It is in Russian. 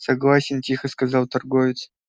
согласен тихо сказал торговец